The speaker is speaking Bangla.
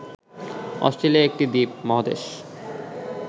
অস্ট্রেলিয়া একটি দ্বীপ-মহাদেশ।